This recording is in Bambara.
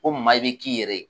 Ko maa i bɛ k'i yɛrɛ